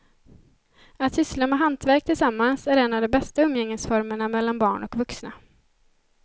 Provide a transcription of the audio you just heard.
Att syssla med hantverk tillsammans är en av de bästa umgängesformerna mellan barn och vuxna.